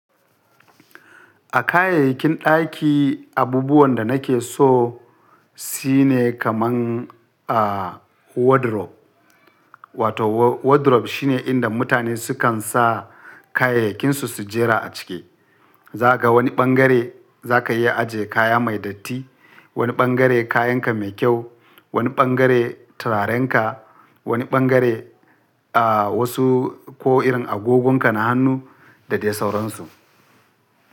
A kayayyakin ɗaki, abubuwan da nake so shine kaman a wardrobe. Wato wardrobe shine inda mutane sukan sa kayayyakinsu su jera a ciki. Za ka ga wani ɓangare za ka iya ajiye kaya mai datti, wani ɓangare kayan ka mai kyau, wani ɓangare turarenka, wani ɓangare a wasu ko irin agogon ka na hannu da dai sauransu.